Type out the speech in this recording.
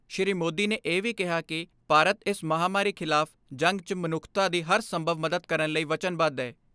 ਸ੍ਰੀ ਮੋਦੀ ਨੇ ਇਹ ਵੀ ਕਿਹਾ ਕਿ ਭਾਰਤ ਇਸ ਮਹਾਂਮਾਰੀ ਖਿਲਾਫ਼ ਜੰਗ 'ਚ ਮਨੁੱਖਤਾ ਦੀ ਹਰ ਸੰਭਵ ਮਦਦ ਕਰਨ ਲਈ ਵਚਨਬੱਧ ਐ।